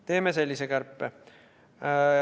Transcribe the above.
Teeme sellise kärpe.